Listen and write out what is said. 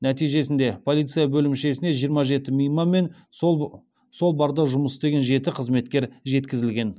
нәтижесінде полиция бөлімшесіне жиырма жеті мейман мен сол барда жұмыс істеген жеті қызметкер жеткізілген